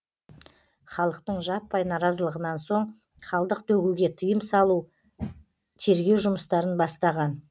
халықтың жаппай наразылығынан соң қалдық төгуге тыйым салу тергеу жұмыстарын бастаған